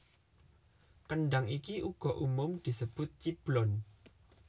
Kendhang iki uga umum disebut ciblon